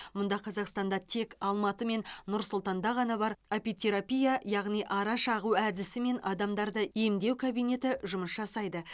мұңда қазақстанда тек алматы мен нұр сұлтанда ғана бар апитерапия яғни ара шағу әдісімен адамдарды емдеу кабинеті жұмыс жасайды